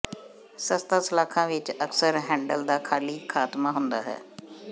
ਸਸਤਾ ਸਲਾਖਾਂ ਵਿੱਚ ਅਕਸਰ ਹੈਂਡਲ ਦਾ ਖਾਲੀ ਖਾਤਮਾ ਹੁੰਦਾ ਹੈ